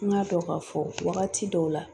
N k'a dɔn k'a fɔ wagati dɔw la